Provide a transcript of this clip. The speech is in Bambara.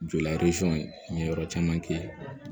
Joli n ye yɔrɔ caman kɛ